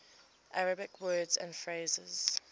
arabic words and phrases